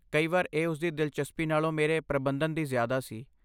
ਕਈ ਵਾਰ ਇਹ ਉਸਦੀ ਦਿਲਚਸਪੀ ਨਾਲੋਂ ਮੇਰੇ ਪ੍ਰਬੰਧਨ ਦੀ ਜ਼ਿਆਦਾ ਸੀ।